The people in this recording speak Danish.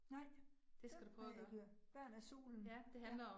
Nej, det ved jeg ikke. Børn af solen? Ja